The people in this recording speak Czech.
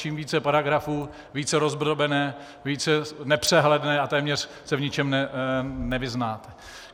Čím více paragrafů, více rozdrobené, více nepřehledné a téměř se v ničem nevyznáte.